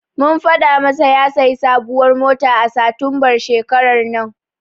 Mun faɗa masa ya sayi sabuwar mota a satumbar shekarar nan.